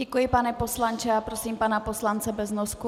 Děkuji, pane poslanče, a prosím pana poslance Beznosku.